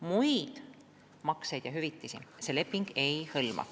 Muid makseid ja hüvitisi see leping ei hõlma.